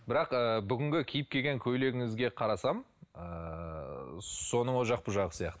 бірақ ыыы бүгінгі киіп келгени көйлегіңізге қарасам ыыы соның ол жақ бұл жағы